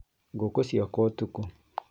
Ngũkũ ciakwa ũtukũ